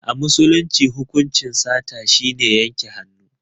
A musulunci hukuncin sata shine yanke hannu.